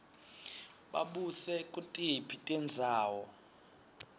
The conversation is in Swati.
babuse kutiphi tindzawo